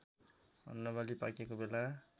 अन्नबाली पाकेको बेला